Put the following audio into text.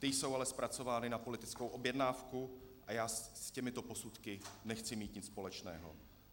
Ty jsou ale zpracovány na politickou objednávku a já s těmito posudky nechci mít nic společného.